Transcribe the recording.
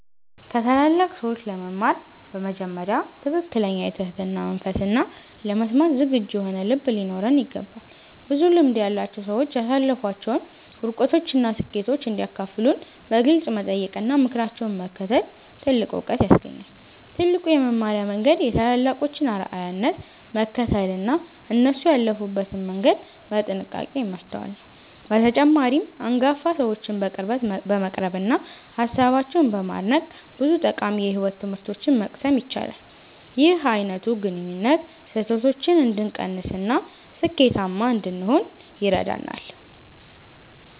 ከታላላቅ ሰዎች ለመማር በመጀመሪያ ትክክለኛ የትህትና መንፈስና ለመስማት ዝግጁ የሆነ ልብ ሊኖረን ይገባል። ብዙ ልምድ ያላቸው ሰዎች ያሳለፏቸውን ውድቀቶችና ስኬቶች እንዲያካፍሉን በግልጽ መጠየቅና ምክራቸውን መከተል ትልቅ ዕውቀት ያስገኛል። ትልቁ የመማሪያ መንገድ የታላላቆችን አርአያነት መከተልና እነሱ ያለፉበትን መንገድ በጥንቃቄ ማስተዋል ነው። በተጨማሪም፣ አንጋፋ ሰዎችን በቅርበት በመቅረብና ሃሳባቸውን በማድነቅ ብዙ ጠቃሚ የሕይወት ትምህርቶችን መቅሰም ይቻላል። ይህ አይነቱ ግንኙነት ስህተቶችን እንድንቀንስና ስኬታማ እንድንሆን ይረዳናል።